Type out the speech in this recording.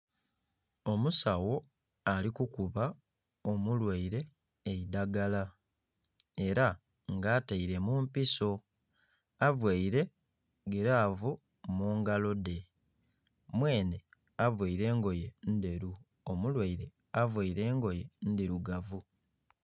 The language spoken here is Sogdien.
Omusawo ali kukuba omulwaire eidagala, era nga ataile mu mpiso. Availe gilavu mu ngalo dhe, mwenhe availe engoye ndheru. Omulwaire availe engoye ndhirugavu.